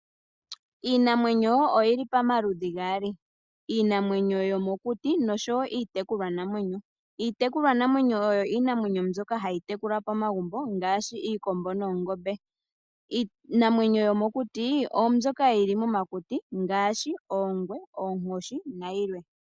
Iinamwenyo oyili pamaludhi gaali, iinamwenyo yomokuti oshowo iitekulwanamwenyo. Iitekulwanamwenyo oyo iinamwenyo mbyoka hayi tekulwa pomagumbo ngaashi iikombo noongombe. Iinamwenyo yomokuti oombyoka yili momakuti ngaashi oongwe, oonkoshi nayilwe.